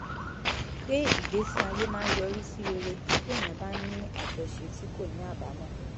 pé ìgbésí ayé máa ń yọrí sí rere téèyàn bá ń ní àjọṣe tí kò ní àbámọ̀